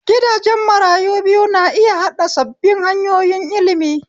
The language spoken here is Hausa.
Gidajen marayu biyu na iya haɗa sabbin hanyoyin ilimi.